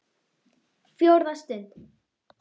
FJÓRÐA STUND